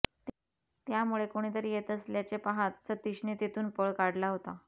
त्यामुळे कोणीतरी येत असल्याचे पाहत सतीशने तेथून पळ काढला होता